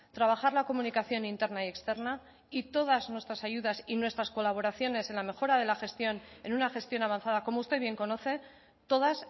trabajar la comunicación interna y externa y todas nuestras ayudas y nuestras colaboraciones en la mejora de la gestión en una gestión avanzada como usted bien conoce todas